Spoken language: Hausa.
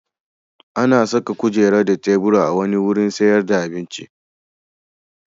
An saka kujeru da tebura a wani wurin sayar da abinci.